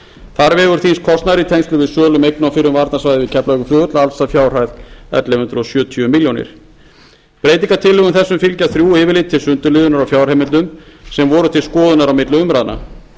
þar vegur þyngst kostnaður í tengslum við sölu eigna á fyrrum varnarsvæði við keflavíkurflugvöll alls að fjárhæð ellefu hundruð sjötíu milljónum króna breytingartillögum þessum fylgja þrjú yfirlit til sundurliðunar á fjárheimildum sem voru til skoðunar á milli umræðna